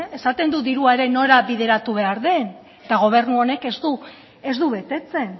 esaten du dirua ere nora bideratu behar den eta gobernu honek ez du betetzen